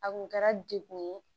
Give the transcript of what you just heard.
A kun kɛra dekun ye